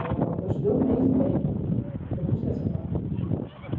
Eu estudei um mês em pé, porque eu não conseguia sentar.